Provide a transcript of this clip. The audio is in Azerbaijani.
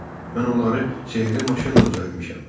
Hə, mən onları sehirli maşınla düzəltmişəm.